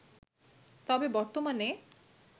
তবে বর্তমানে